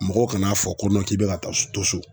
Mɔgɔw kan'a fɔ ko k'i bɛ ka taa s to so.